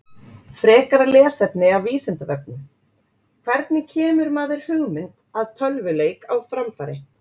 Frekara lesefni af Vísindavefnum: Hvernig kemur maður hugmynd að tölvuleik á framfæri?